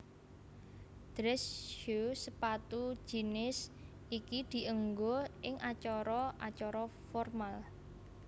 Dress Shoe sepatu jinis iki dienggo ing acara acara formal